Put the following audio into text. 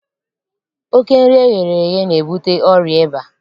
Oké nri eghere eghe na-ebute ọrịa ịba.